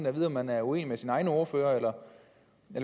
at vide om man er uenig med sine egne ordførere eller